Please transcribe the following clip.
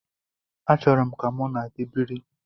Achọrọ m ka mụ na gị biri.